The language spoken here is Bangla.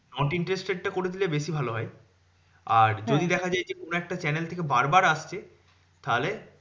Not interested টা করে দিলে বেশি ভালো হয় আর হ্যাঁ যদি দেখা যায় এই যে, কোনো একটা channel থেকে বার বার আসছে তাহলে,